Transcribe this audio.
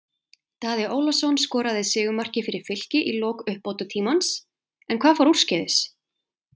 Daði Ólafsson skoraði sigurmarkið fyrir Fylki í lok uppbótartímans, en hvað fór úrskeiðis?